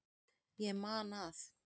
Ég man að